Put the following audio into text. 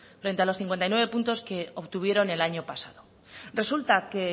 frente a los cincuenta y nueve puntos que obtuvieron el año pasado resulta que